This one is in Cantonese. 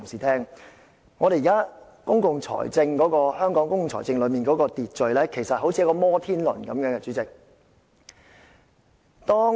代理主席，現時香港公共財政的秩序其實有如一個"摩天輪"。